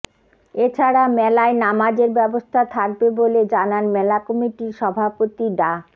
এ ছাড়া মেলায় নামাজের ব্যবস্থা থাকবে বলে জানান মেলা কমিটির সভাপতি ডা